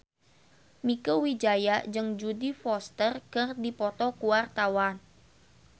Mieke Wijaya jeung Jodie Foster keur dipoto ku wartawan